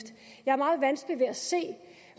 jeg har meget vanskeligt ved at se